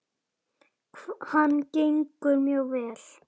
Hann gengur mjög vel.